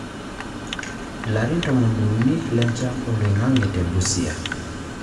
Ilari tomoniuni lenchan oloing'ang'e te Busia.